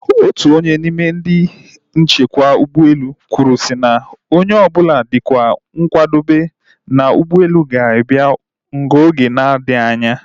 Otu onye n'ime ndị nchekwa ụgbọelu kwụrụe sị na onye ọbụla dị nkwadobe na ụgbọelu ga-abịa n'oge na adịghị anya